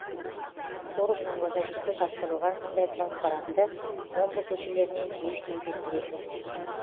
форумның логотипі жапсырылған мұндай транспорантты омбы көшелерінен жиі кездестіресіз